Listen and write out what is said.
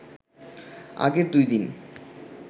আগের দুই দিন